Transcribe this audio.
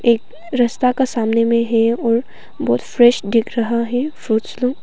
एक रास्ता का सामने में है और बहुत फ्रेश दिख रहा है फ्रूट्स लोग।